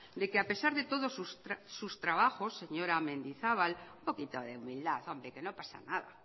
de que a pesar de todo sus trabajos señora mendizabal n poquito de humildad hombre que no pasa nada